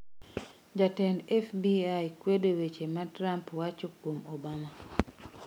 Jatend FBI kwedo weche ma Trump wacho kuom Obama